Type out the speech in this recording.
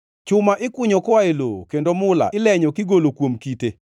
Chuma ikunyo koa e lowo, kendo mula ilenyo kigolo kuom kite.